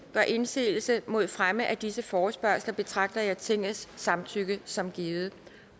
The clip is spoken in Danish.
gør indsigelse mod fremme af disse forespørgsler betragter jeg tingets samtykke som givet